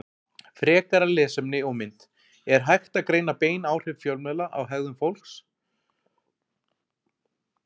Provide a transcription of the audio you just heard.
Frekara lesefni og mynd Er hægt að greina bein áhrif fjölmiðla á hegðun fólks?